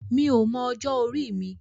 Mi ò mọ ọjọ́ orí mi.